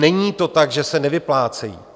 Není to tak, že se nevyplácejí.